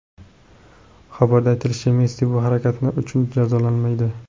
Xabarda aytilishicha, Messi bu harakati uchun jazolanmaydi.